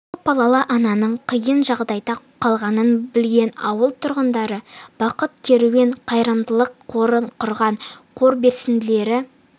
көп балалы ананың қиын жағдайда қалғанын білген ауыл тұрғындары бақыт керуен қайырымдылық қорын құрған қор белсенділері